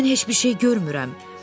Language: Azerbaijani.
Mən heç bir şey görmürəm.